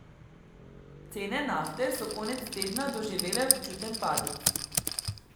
Cene nafte so konec tedna doživele občuten padec.